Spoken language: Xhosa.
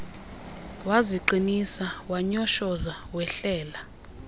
waziqinisa wanyoshoza wehlela